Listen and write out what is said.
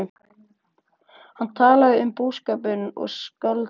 Hann talaði um búskapinn og skáldskap